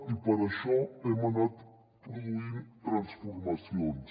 i per això hem anat produint transformacions